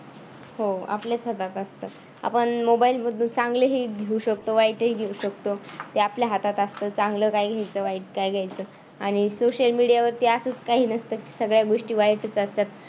हो. आपल्याच हातात असतं. आपण मोबाईल मधून चांगले येऊ शकतो वाईटही घेऊ शकतो. ते आपल्या हातात असतं. चांगलं काय घ्यायचं, वाईट काय घ्यायचं आणि सोशल मीडियावरती असं काही नसतं की सगळ्या गोष्टी वाईटच असतात.